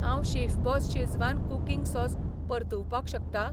हांव chef boss schezwan cooking sauce परतुवपाक शकता?